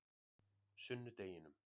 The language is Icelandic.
sunnudeginum